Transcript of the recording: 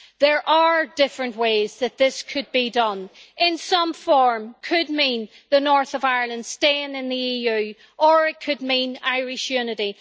There are different ways that this could be done in some form' could mean the North of Ireland staying in the EU, or it could mean Irish unity.